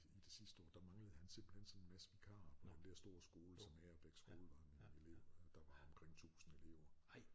I det sidste år der manglede han simpelthen sådan en masse vikarer på den dér store skole som Agerbæk skole var der var omkring 1000 elever